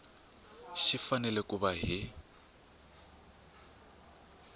xi fanele ku va hi